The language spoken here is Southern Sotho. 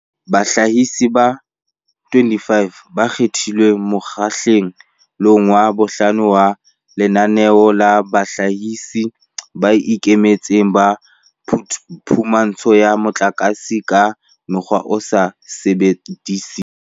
Bahlahisi ba 25 ba kgethilweng mokgahle long wa bohlano wa Lenaneo la Bahlahisi ba Ikemetseng ba Phumantsho ya Motlakase ka Mokgwa o sa Sebediseng